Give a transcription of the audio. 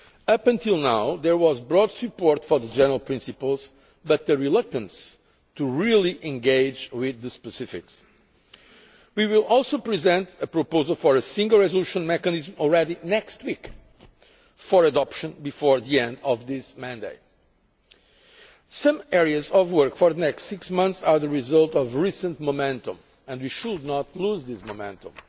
Up until now, there has been broad support for the general principles but a reluctance to really engage with the specifics. We will also present a proposal for a single resolution mechanism next week already, for adoption before the end of this mandate. Some areas of work for the next six months are the result of recent momentum and we should not lose this momentum.